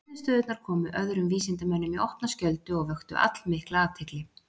Niðurstöðurnar komu öðrum vísindamönnum í opna skjöldu og vöktu allmikla athygli.